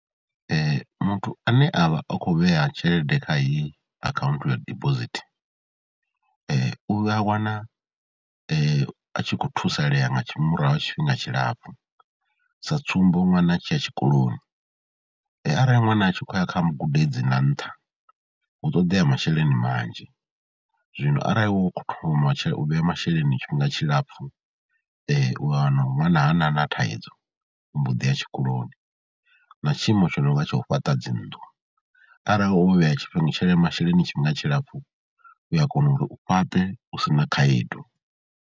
Muthu ane a vha o khou vhea tshelede kha iyi akhaunthu ya dibosithi u a wana a tshi khou thusalea nga murahu ha tshifhinga tshilapfhu, sa tsumbo ṅwana a tshi ya tshikoloni, arali ṅwana a tshi khou ya kha gudedzi na nṱha hu ṱoḓea masheleni manzhi, zwino arali wo khou thoma u vhea masheleni tshifhinga tshilapfhj u wana ṅwana hana na thaidzo, u mbo ḓi ya tshikoloni. Na tshiimo tsha no nga tsha u fhaṱa dzi nnḓu arali wo vhea tshele, masheleni tshifhinga tshilapfbu u ya kona uri u fhaṱe u si na khaedu.